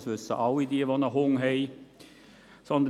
Das wissen alle, die einen Hund haben.